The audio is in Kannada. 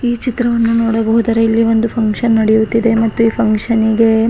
ಈ ಚಿತ್ರವನ್ನು ನೋಡಹೋದರೆ ಇಲ್ಲಿ ಒಂದು ಪಂಗ್ಷನ್ ನಡೆಯುತ್ತಿದೆ ಮತ್ತು ಈ ಪಂಗ್ಶನ್ನಿಗೆ --